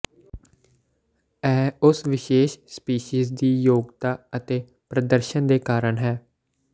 ਇਹ ਉਸ ਵਿਸ਼ੇਸ਼ ਸਪੀਸੀਜ਼ ਦੀ ਯੋਗਤਾ ਅਤੇ ਪ੍ਰਦਰਸ਼ਨ ਦੇ ਕਾਰਨ ਹੈ